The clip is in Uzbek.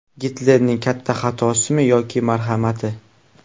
Gitlerning katta xatosimi yoki marhamati?